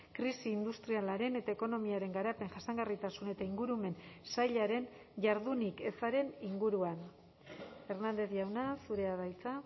krisi industrialaren eta ekonomiaren garapen jasangarritasun eta ingurumen sailaren jardunik ezaren inguruan hernández jauna zurea da hitza